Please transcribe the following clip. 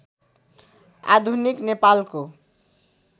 आधुनिक नेपालको